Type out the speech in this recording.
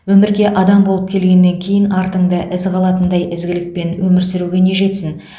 өмірге адам болып келгеннен кейін артыңда із қалатындай ізгілікпен өмір сүруге не жетсін